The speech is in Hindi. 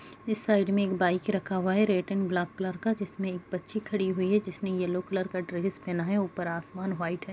इस साइड में एक बाइक रखा हुआ है रेड एंड ब्लैक कलर का जिसमे एक बच्ची खड़ी हुई है जिसने येलो कलर का ड्रेस पहना है ऊपर आसमान वाइट है।